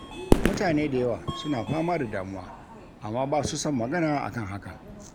Mutane da yawa suna fama da damuwa, amma ba su son magana akan hakan.